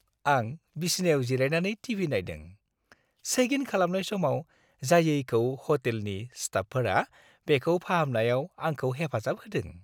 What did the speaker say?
आं बिसिनायाव जिरायनानै टि.भि. नायदों। चेक-इन खालामनाय समाव जायैखौ ह'टेलनि स्टाफफोरा बेखौ फाहामनायाव आंखौ हेफाजाब होदों।